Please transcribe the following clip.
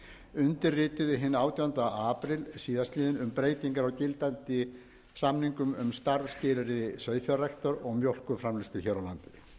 undirrituðu hinn átjánda apríl síðastliðinn um breytingar á gildandi samningum um starfsskilyrði sauðfjárræktar og mjólkurframleiðslu hér